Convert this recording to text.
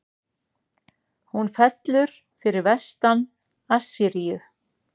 Hún fellur fyrir vestan Assýríu.